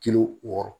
Kilo wɔɔrɔ